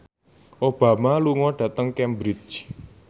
Obama lunga dhateng Cambridge